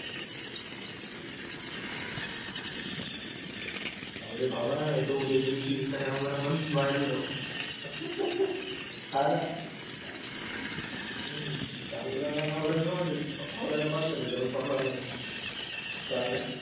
लाव रे बाबा नाही तर उद्याच्या दिवशी इंस्टाग्राम वर आपण वायरलराहू. हां ना. हम्म टाळा मध्ये औरंगाबाद मध्ये जाऊन पकडावा लागेल. मला.